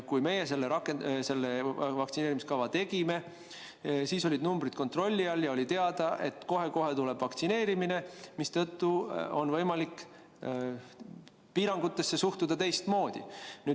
Kui meie selle vaktsineerimiskava tegime, siis olid arvud kontrolli all ja oli teada, et kohe-kohe tuleb vaktsineerimine, mistõttu oli võimalik piirangutesse suhtuda teistmoodi.